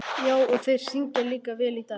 Já, og þeir syngja líka vel í dag.